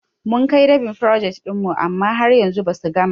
Mun kai dab'in frojet ɗin mu amma har yanzu basu gama ba.